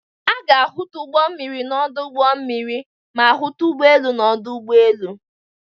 A ga-ahụta ụgbọ mmiri n'ọdụ ụgbọ mmiri ma hụta ụgbọ elu n'ọdụ ụgbọ elu.